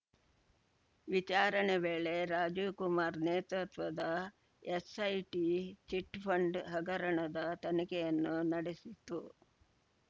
ವಿಚಾರಣೆ ವೇಳೆ ರಾಜೀವ್‌ ಕುಮಾರ್‌ ನೇತೃತ್ವದ ಎಸ್‌ಐಟಿ ಚಿಟ್‌ಫಂಡ್‌ ಹಗರಣದ ತನಿಖೆಯನ್ನು ನಡೆಸಿತ್ತು